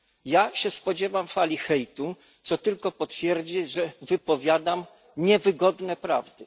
Ja się spodziewam fali hejtu, co tylko potwierdzi, że wypowiadam niewygodne prawdy.